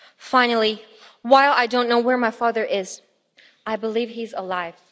Finally, while I don't know where my father is, I believe he is alive.